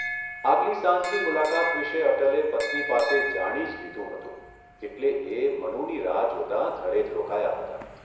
આગલી સાંજની મુલાકાત વિશે અટલે પત્ની પાસે જાણી જ લીધું હતું એટલે એ મનુની રાહ જોતા ઘરે જ રોકાયા હતા.